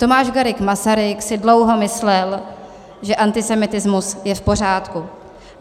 Tomáš Garrigue Masaryk si dlouho myslel, že antisemitismus je v pořádku.